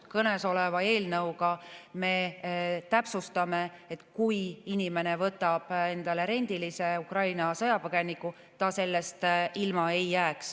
Kõnesoleva eelnõuga me täpsustame, et kui inimene võtab endale rendilise Ukraina sõjapõgeniku, siis ta sellest ilma ei jää.